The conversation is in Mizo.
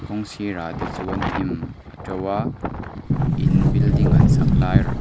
kawng sirah te chuan hnim a to a in building an sak lai rr--